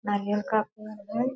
नारियल का पेड़ है।